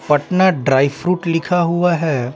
Patna dry fruit लिखा हुआ है।